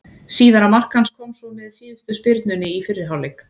Síðara mark hans kom svo með síðustu spyrnunni í fyrri hálfleik.